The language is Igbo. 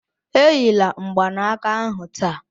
Enyila mgbanaka ahu taa